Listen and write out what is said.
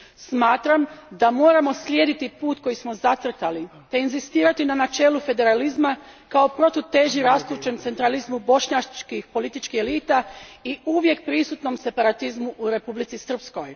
Samtram da moramo slijediti put koji smo zacrtali te inzistirati na načelu federalizma kao protuteži rastućem centralizmu bošnjačkih političkih elita i uvijek prisutnom separatizmu u Republici Srpskoj.